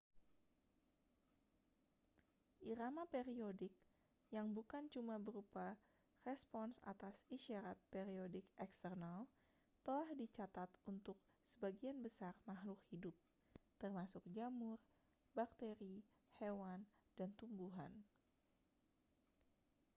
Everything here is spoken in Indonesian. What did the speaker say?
irama periodik yang bukan cuma berupa respons atas isyarat periodik eksternal telah dicatat untuk sebagian besar makhluk hidup termasuk jamur bakteri hewan dan tumbuhan